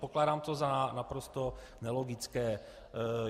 Pokládám to za naprosto nelogické.